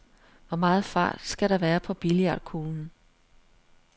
Hvor meget fart skal der være på billiardkuglen?